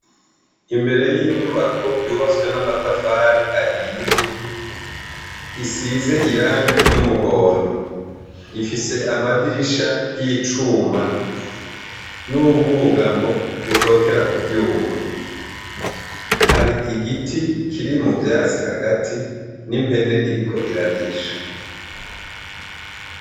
Imbere y'inyubako yubatse n'amatafari ahiye isize irangi ryumuhondo ifise amadirisha y'icuma n'ubwugamo bushokera kucuma hari igiti kiri muvyatsi hagati n'impene iriko irarisha.